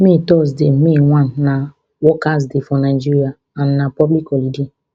may thursday may one na workers day for nigeria and na public holiday